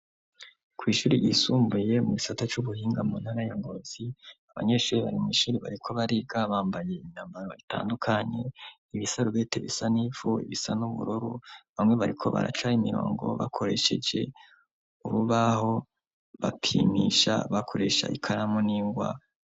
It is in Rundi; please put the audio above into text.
Kw'ishuri yisumbuye mu gisata c'ubuhinga mu ntagayongozi abanyeshuri barimu ishuri bariko bariga bambaye inyambaro itandukanye ibisarubete bisa n'ipfu ibisa n'uburoru bamwe bariko baracaye imirongo bakoresheje urubaho bapimisha bakuresha ikaramu n'ingwa.